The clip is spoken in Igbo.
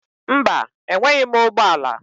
Mba, enweghị m ụgbọ ala.